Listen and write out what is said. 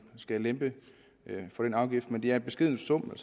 skal lempe på den afgift men det er en beskeden sum